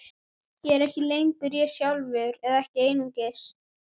Ég er ekki lengur ég sjálfur, eða ekki einungis.